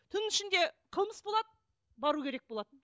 түн ішінде қылмыс болады бару керек болады